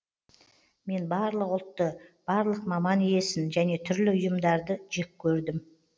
мен барлық ұлтты барлық маман иесін және түрлі ұйымдарды жек көрдім